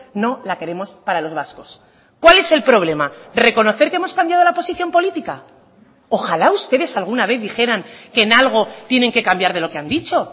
no la queremos para los vascos cuál es el problema reconocer que hemos cambiado la posición política ojalá ustedes alguna vez dijeran que en algo tienen que cambiar de lo que han dicho